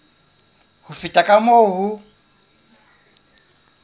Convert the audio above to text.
ho feta ka moo ho